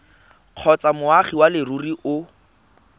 kgotsa moagi wa leruri o